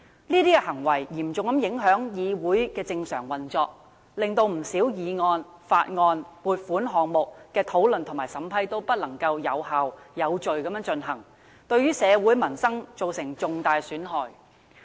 這些行為嚴重影響議會的正常運作，令不少議案、法案、撥款項目的討論和審批均不能有效、有序地進行，對社會民生造成重大損害。